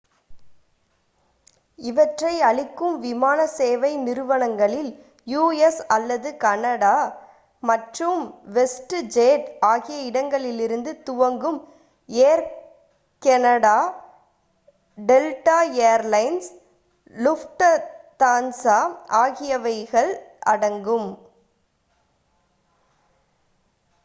இவற்றை அளிக்கும் விமானசேவை நிறுவனங்களில் யு.எஸ் அல்லது கேனடா மற்றும் வெஸ்ட் ஜெட் ஆகிய இடங்களிலிருந்து துவங்கும் Air Canada Delta Air Lines Lufthansa ஆகியவைகள் அடங்கும்